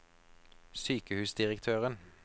sykehusdirektøren